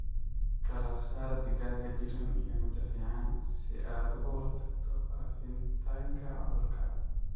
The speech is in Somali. Kala saar digaaga jiran iyo mida fican si aad uga hortagto faafitaanka cudurka.